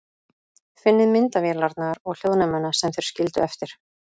Finnið myndavélarnar og hljóðnemana sem þeir skildu eftir.